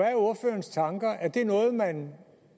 er ordførerens tanker er det noget man